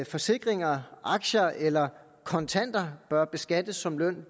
forsikringer aktier eller kontanter bør beskattes som løn